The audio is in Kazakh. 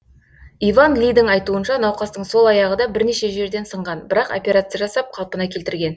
иван лидің айтуынша науқастың сол аяғы да бірнеше жерден сынған бірақ операция жасап қалпына келтірген